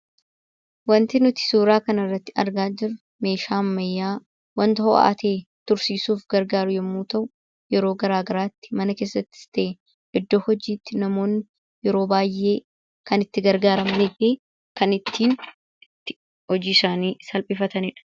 Wanti nuti suuraa kanarratti argaa jirru meeshaa ammayyaa wanta ho'aa ta'e tursiisuuf gargaaru yommuu ta'u, yeroo garaagaraatti mana keessatti, iddoo hojiitti yeroo baay'ee kan itti gargaaramanii fi kan ittiin hojii isaanii salphifatanidha.